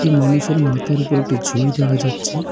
এই মানুষের মাথার উপর একটি ঝুড়ি দেখা যাচ্ছে।